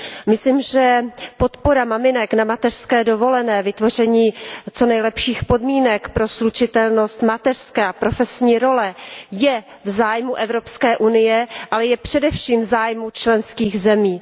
Myslím, že podpora maminek na mateřské dovolené, vytvoření co nejlepších podmínek pro slučitelnost mateřské a profesní role je v zájmu Evropské unie, ale je především v zájmu členských zemí.